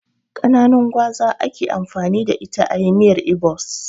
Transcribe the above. Kananun gwaza ake amfani da ita ayi miyar ibo's